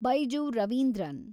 Baiju Ravindran